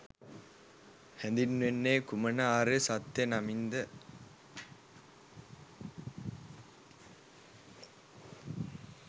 හැඳින්වෙන්නේ කුමන ආර්ය සත්‍යය නමින්ද?